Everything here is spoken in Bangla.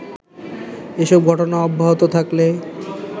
এসব ঘটনা অব্যাহত থাকলে